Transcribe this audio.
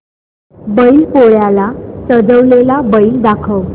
बैल पोळ्याला सजवलेला बैल दाखव